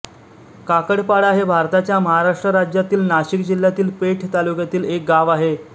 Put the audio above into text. काकडपाडा हे भारताच्या महाराष्ट्र राज्यातील नाशिक जिल्ह्यातील पेठ तालुक्यातील एक गाव आहे